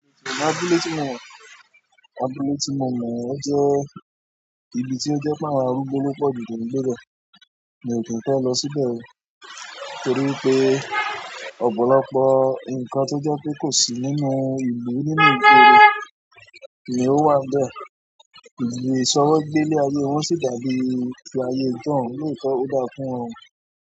Abúlé tí mo mọ, abúlé tí mo mọ ọ jẹ ibi tí o jẹ pé àwọn arúgbó ló pọ̀jù tó ń gbé bẹ, mo dẹ̀ fẹ lọ síbẹ̀ o torí pé ọ̀pọ̀lọpọ̀ nkan tó jẹ́ pé kò sí nínú ìlú, nínú ìgboro, ni o wà nbe ìṣòwò gbé ilé ayé wọn sì dà bí ti ayé ijohun ni èyí tí ó da fún wọn.